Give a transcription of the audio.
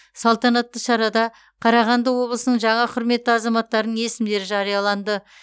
салтанатты шарада қарағанды облысының жаңа құрметті азаматтарының есімдері жарияланды